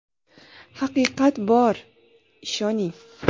Haqiqat bor, ishoning!